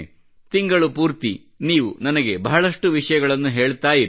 ತಿಂಗಳು ಪೂರ್ತಿ ನೀವು ನನಗೆ ಬಹಳಷ್ಟು ವಿಷಯಗಳನ್ನು ಹೇಳುತ್ತಾ ಇರಿ